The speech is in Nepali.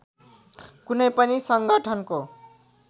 कुनै पनि सङ्गठनको